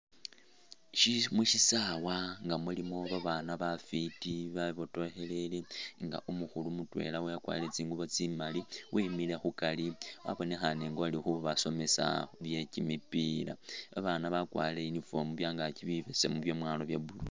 Ishi mushisawa nga mulimo babaana bafwiti bebotokhelele nga umukhulu mutwela wakwarire tsingubo tsimali wemile khukari wabonekhane nga uli khubasomisa bye kimipiila. Babaana bakwarire uniform byangaaki bibesemu byemwalo bya blue